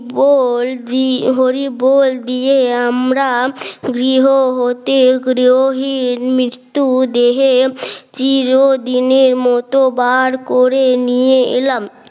বল হরিবোল দিয়ে আমরা গৃহ হতে গৃহহীন মৃত্যু দেহে চিরদিনের মত বার করে নিয়ে এলাম